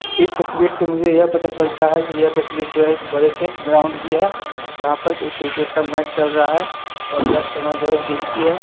इस तस्वीर से मुझे यह पता चलता है कि यह तस्वीर जो है एक बड़े से ग्राउंड की है जहां पर कि एक क्रिकेट का मैच चल रहा है और यह समय जो है दिन की है।